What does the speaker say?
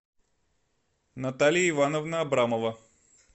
наталья ивановна абрамова